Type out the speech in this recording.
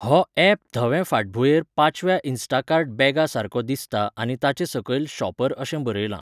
हो यॅप धवे फाटभुंयेर पाचव्या इन्स्टाकार्ट बॅगा सारको दिसता आनी ताचे सकयल शॉपर अशें बरयलां.